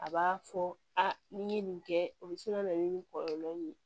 A b'a fɔ a ni n ye nin kɛ o bi se ka na ni nin kɔlɔlɔ ye